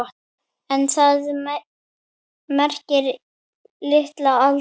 En það merkir lítil alda.